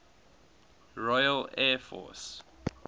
royal air force